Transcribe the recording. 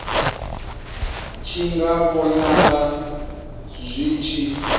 tshi nga vhonala zwi tshi